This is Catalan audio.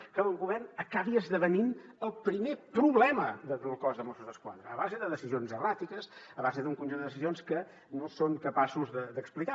de que el govern acabi esdevenint el primer problema del cos de mossos d’esquadra a base de decisions erràtiques a base d’un conjunt de decisions que no són capaços d’explicar